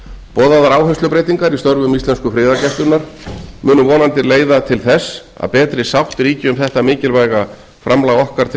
boðaðar áherslubreytingar í störfum íslensku friðargæslunnar munu vonandi leiða til þess að betri sátt ríki um þetta mikilvæga framlag okkar til